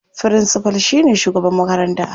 Firincifal shine shugaban makaranta.